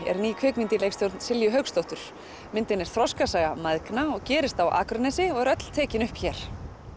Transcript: er ný kvikmynd í leikstjórn Silju Hauksdóttur myndin er þroskasaga mæðgna og gerist á Akranesi og er öll tekin upp hér